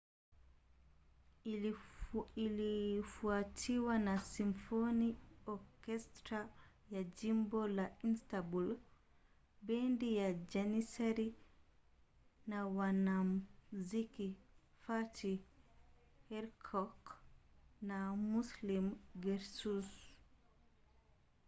ilifuatiwa na simfoni okestra ya jimbo la istanbul bendi ya janissary na wanamuziki fatih erkoç and müslüm gürses